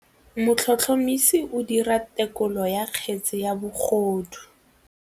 Motlhotlhomisi o dira têkolô ya kgetse ya bogodu.